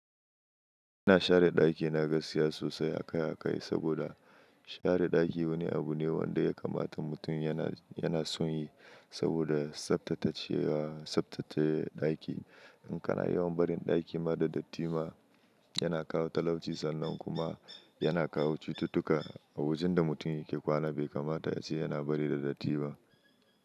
Ina share daki na gaskiya sosai akai-akai saboda share daki wani abu ne wanda ya kamata mutum yana, yana son yi saboda tsabtace, tsabtace daki. In kana yawan barin daki ma da datti ma yana kawo talauci sannan kuma yana kawo cututtuka a wajen da mutum yake kwana bai kamata ya ce yana bari da datti ba.